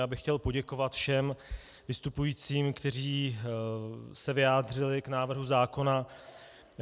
Já bych chtěl poděkovat všem vystupujícím, kteří se vyjádřili k návrhu zákona.